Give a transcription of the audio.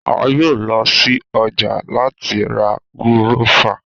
A yoo lọ si ọja lati ra gúrọ́fà.